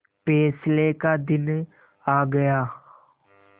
फैसले का दिन आ गया